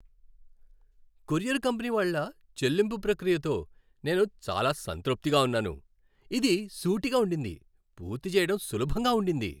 Courier company వాళ్ళ చెల్లింపు ప్రక్రియతో నేను చాలా సంతృప్తిగా ఉన్నాను. ఇది సూటిగా ఉండింది, పూర్తి చేయడం సులభంగా ఉండింది.